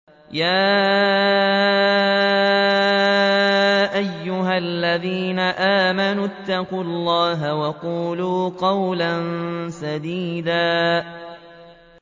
يَا أَيُّهَا الَّذِينَ آمَنُوا اتَّقُوا اللَّهَ وَقُولُوا قَوْلًا سَدِيدًا